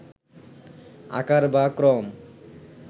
আকার বা ক্রম